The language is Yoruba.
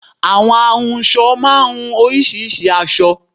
Àwọn ahunsọ máá ń hun oríṣiríṣìí aṣọ